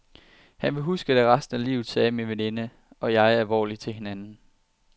Hun vil huske det resten af livet, sagde min veninde og jeg alvorligt til hinanden.